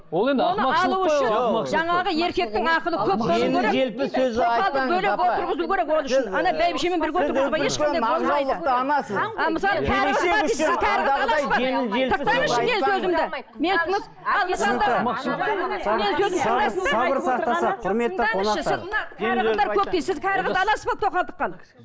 жаңағы еркектің ақылы көп болуы керек кәрі қызды аласыз ба тоқалдыққа ал